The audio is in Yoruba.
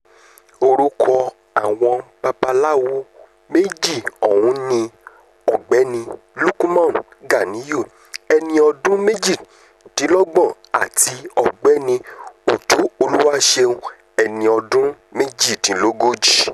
orúkọ àwọn babaláwo méjì ọ̀hún ni ọ̀gbẹ́ni lukman ganiyun ẹni ọdún méjìdínlọ́gbọ̀n àti ọ̀gbẹ́ni ọjọ́ olùwàṣẹ́un ẹni ọdún méjìdínlógójì